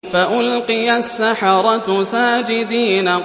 فَأُلْقِيَ السَّحَرَةُ سَاجِدِينَ